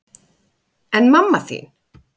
En mamma þín?